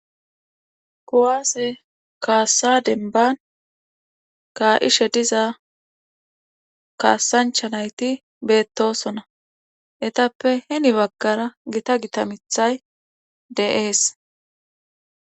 Kuwaase kaasa dembban kaa7ishe diza kaasncha nayti beettoosona etappe heni baggara gita gita mithay de7ees.